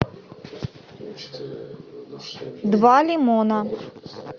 два лимона